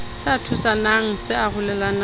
se a thusana se arolelana